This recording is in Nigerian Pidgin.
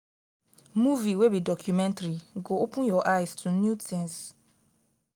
movie wey be documentary go open your eyes to new tins.